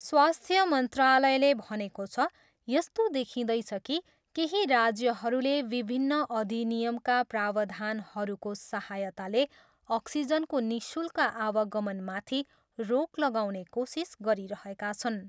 स्वास्थ्य मन्त्रालयले भनेको छ, यस्तो देखिँदैछ कि केही राज्यहरूले विभिन्न अधिनियमका प्रावधानहरूको सहायताले अक्सिजनको निःशुल्क आवागमनमाथि रोक लगाउने कोसिस गरिरहेका छन्।